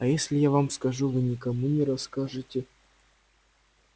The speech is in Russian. а если я вам скажу вы никому не расскажете